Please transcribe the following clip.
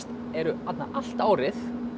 eru þarna allt árið